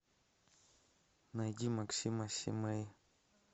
найди максима симэй